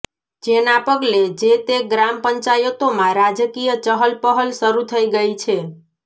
જેના પગલે જે તે ગ્રામ પંચાયતોમાં રાજકીય ચહલપહલ શરૃ થઈ ગઈ છે